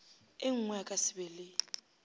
engwe a ka sebe le